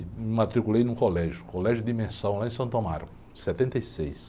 E me matriculei num colégio, colégio de imersão, lá em Santo Amaro. Setenta e seis.